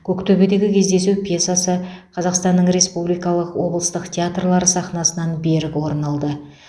көктөбедегі кездесу пьесасы қазақстанның республикалық облыстық театрлары сахнасынан берік орын алды